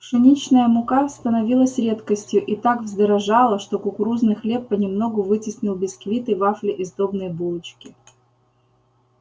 пшеничная мука становилась редкостью и так вздорожала что кукурузный хлеб понемногу вытеснил бисквиты вафли и сдобные булочки